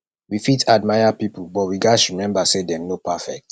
we fit admire pipo but we gatz remember say dem no perfect